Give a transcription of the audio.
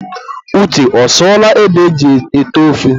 Uche ọsụọla ede e ji ete ofe?